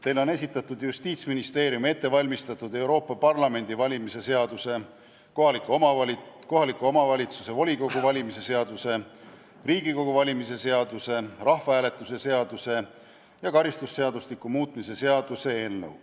Teile on esitatud Justiitsministeeriumi ette valmistatud Euroopa Parlamendi valimise seaduse, kohaliku omavalitsuse volikogu valimise seaduse, Riigikogu valimise seaduse, rahvahääletuse seaduse ja karistusseadustiku muutmise seaduse eelnõu.